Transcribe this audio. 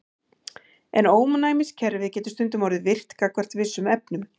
En ónæmiskerfið getur stundum orðið of virkt gagnvart vissum efnum.